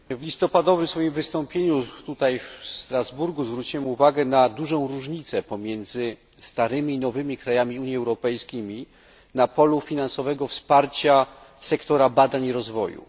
W swoim listopadowym wystąpieniu tutaj, w Strasburgu, zwróciłem uwagę na dużą różnicę pomiędzy starymi i nowymi krajami Unii Europejskiej na polu finansowego wsparcia sektora badań i rozwoju.